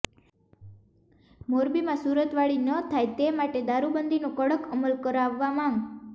મોરબીમાં સુરતવાળી ન થાય તે માટે દારૃબંધીનો કડક અમલ કરાવવા માંગ